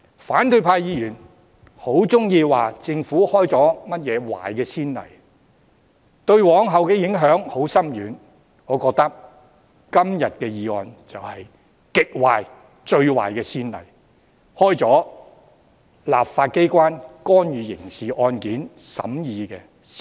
反對派議員很喜歡說政府開了甚麼壞先例，對往後的影響很深遠；我覺得今天這項議案就是極壞、最壞的先例，開了立法機關干預刑事案件審議的先例。